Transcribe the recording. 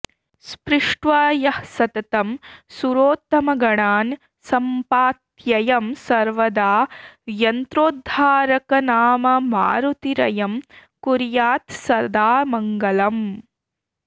स्पृष्ट्वा यः सततं सुरोत्तमगणान् सम्पात्ययं सर्वदा यन्त्रोद्धारकनाममारुतिरयं कुर्यात् सदा मङ्गलम्